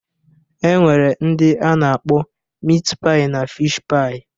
E nwere ndị a na-akpọ mit paị na fish-paị